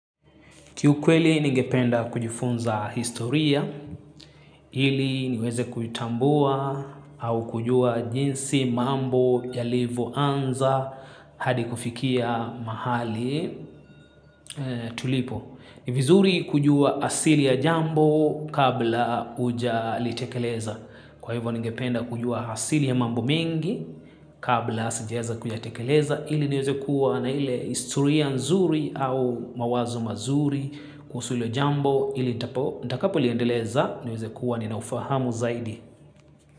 Kiukweli ningependa kujifunza historia ili niweze kuitambua au kujua jinsi mambo yalivo anza hadi kufikia mahali tulipo. Ni vizuri kujua asili ya jambo kabla ujalitekeleza. Kwa hivyo ningependa kujua asili ya mambo mengi kabla sijaeza kuyatekeleza ili nieze kuwa na ile historia nzuri au mawazo mazuri kuhusu ilo jambo ili nitakapo liendeleza nieze kuwa nina ufahamu zaidi.